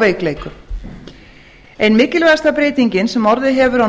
veikleikum ein mikilvægasta breytingin sem orðið hefur á